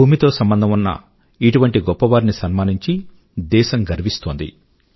భుమితో సంబంధం ఉన్న ఇటువంటి గొప్ప వారిని సన్మానించి దేశం గర్వపడుతుంది